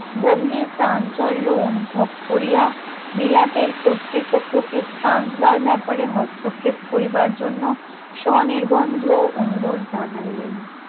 গভীর চাঞ্চল্য অনুভব করিয়া বিলাতের কর্তৃপক্ষকে ট্রান্সবাল ব্যাপারে হস্তক্ষেপ কড়িবার জন্য স্বনির্বন্ধ অনুরোধ জানাইলেন